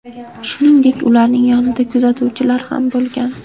Shuningdek, ularning yonida kuzatuvchilar ham bo‘lgan.